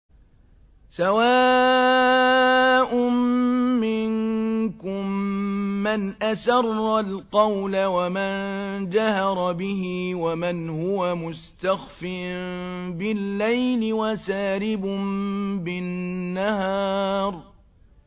سَوَاءٌ مِّنكُم مَّنْ أَسَرَّ الْقَوْلَ وَمَن جَهَرَ بِهِ وَمَنْ هُوَ مُسْتَخْفٍ بِاللَّيْلِ وَسَارِبٌ بِالنَّهَارِ